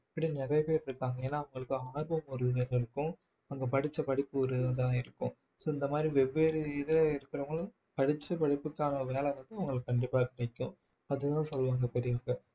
இப்படி நிறைய பேர் இருக்காங்க ஏன்னா அவங்களுக்கு ஆர்வம் அவங்க படிச்ச படிப்பு ஒரு இதா இருக்கும் so இந்த மாதிரி வெவ்வேறு இதுல இருக்கிறவங்களும் படிச்சு படிப்புக்கான வேலை வந்து அவங்களுக்கு கண்டிப்பா கிடைக்கும் அதுதான் சொல்லுவாங்க பெரியவங்க